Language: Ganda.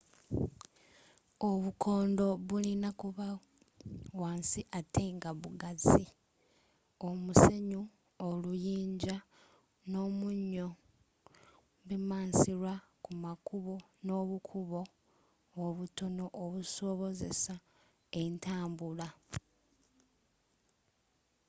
obukondo bulina kuba wansi atte nga bugazi. omusenyu oluyinja n’omunyocalcium chloride bimansirwa kumakkubo nobukubo obutono okusobozesa entambula